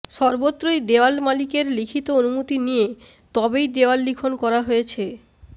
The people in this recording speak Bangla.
সর্বত্রই দেওয়াল মালিকের লিখিত অনুমতি নিয়ে তবেই দেওয়াল লিখন করা হয়েছে